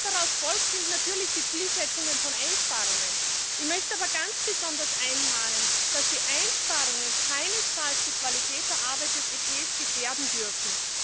Was daraus folgt, sind natürlich die Zielsetzungen von Einsparungen. Ich möchte aber ganz besonders anmahnen, dass die Einsparungen keinesfalls die Qualität der Arbeit des EP gefährden dürfen.